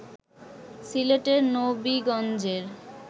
সিলেটের নবিগঞ্জের